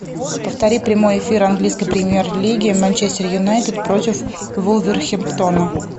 повтори прямой эфир английской премьер лиги манчестер юнайтед против вулверхэмптона